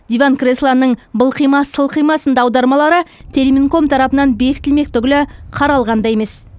диван креслоның былқима сылқима сынды аудармалары терминком тарапынан бекітілмек түгілі қаралған да емес